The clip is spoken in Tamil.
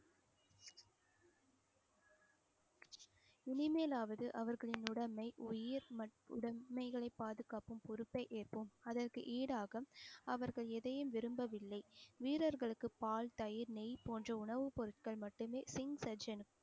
இனிமேலாவது அவர்களின் உடமை, உயிர் மற்றும் உடமைகளை பாதுகாக்கும் பொறுப்பை ஏற்போம். அதற்கு ஈடாக அவர்கள் எதையும் விரும்பவில்லை. வீரர்களுக்கு பால், தயிர், நெய் போன்ற உணவுப் பொருட்கள் மட்டுமே சிங்